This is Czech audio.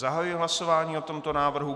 Zahajuji hlasování o tomto návrhu.